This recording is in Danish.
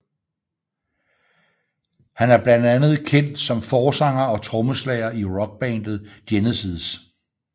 Han er blandt andet kendt som forsanger og trommeslager i rockbandet Genesis